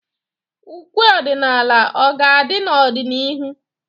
Ụkwe ọdịnala ọ ga-adị n'ọdịnihu?